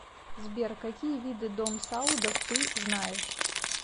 сбер какие виды дом саудов ты знаешь